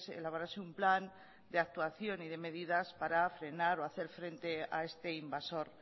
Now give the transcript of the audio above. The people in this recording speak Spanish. elaborase un plan de actuación y de medidas para frenar o hacer frente a este invasor